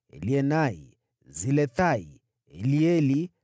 Elienai, Silethai, Elieli,